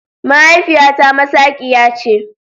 Mahaifiyata masaqiya ce.